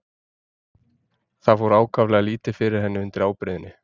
Það fór ákaflega lítið fyrir henni undir ábreiðunni.